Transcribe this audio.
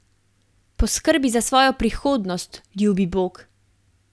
Poskrbi za svojo prihodnost, ljubi bog!